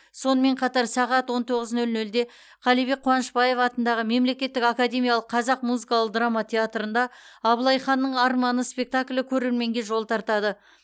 сонымен қатар сағат он тоғыз нөл нөлде қалибек қуанышбаев атындағы мемлекеттік академиялық қазақ музыкалық драма театрында абылай ханның арманы спектаклі көрерменге жол тартады